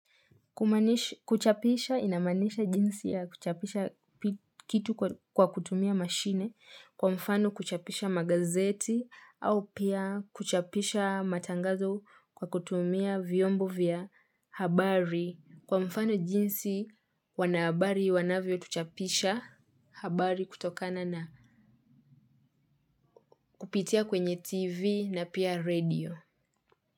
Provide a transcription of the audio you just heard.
Kuchapisha ina maanisha jinsi ya kuchapisha kitu kwa kutumia mashine kwa mfano kuchapisha magazeti au pia kuchapisha matangazo kwa kutumia vyombo vya habari kwa mfano jinsi wanabari wanavyo chapisha habari kutokana na kupitia kwenye tv na pia radio.